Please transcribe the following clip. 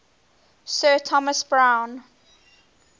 sir thomas browne